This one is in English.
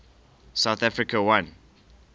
south africa won